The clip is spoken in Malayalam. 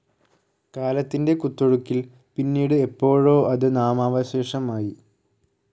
കാലത്തിന്റെ കുത്തൊഴുക്കിൽ പിന്നീട് എപ്പോഴോ അത് നാമാവശേഷമായി.